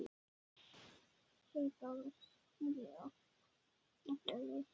Sverrir Garðars hefur allt Ekki erfiðasti andstæðingur?